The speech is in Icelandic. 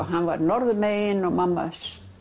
hann var norðanmegin og mamma